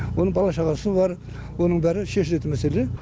оның бала шағасы бар оның бәрі шешілетін мәселе